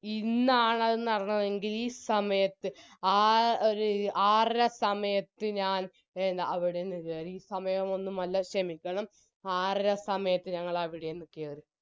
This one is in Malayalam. ഇന്നാണത് അത് നടന്നതെങ്കിൽ ഈ സമയത്ത് ആ ഒര് ആറര സമയത്ത് ഞാൻ അ അവിടെ നിന്ന് കെറി ഈ സമയമൊന്നുമല്ല ഷെമിക്കണം ആറര സമയത്ത് ഞങ്ങളവിടെന്ന് കെറി